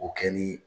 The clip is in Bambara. O kɛ ni